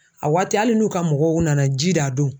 A waati hali n'u ka mɔgɔw nana ji d'a don